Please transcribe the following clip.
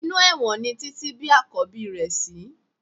Inú ẹ̀wọ̀n ni Títí bí Àkọ́bí rẹ̀ sí